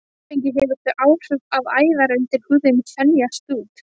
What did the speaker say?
Áfengi hefur þau áhrif að æðar undir húðinni þenjast út.